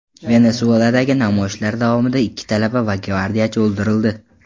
Venesueladagi namoyishlar davomida ikki talaba va gvardiyachi o‘ldirildi.